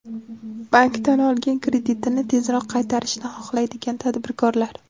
Bankdan olgan kreditini tezroq qaytarishni xohlaydigan tadbirkorlar!